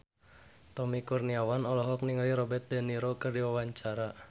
Tommy Kurniawan olohok ningali Robert de Niro keur diwawancara